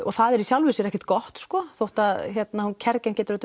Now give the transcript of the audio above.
það er í sjálfi sér ekkert gott þótt að kergin geti